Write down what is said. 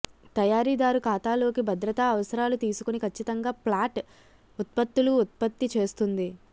తయారీదారు ఖాతాలోకి భద్రతా అవసరాలు తీసుకుని ఖచ్చితంగా ఫ్లాట్ ఉత్పత్తులు ఉత్పత్తి చేస్తుంది